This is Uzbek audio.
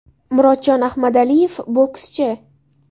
Murodjon Ahmadaliyev, bokschi !